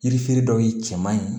Yiri feere dɔw ye cɛman ye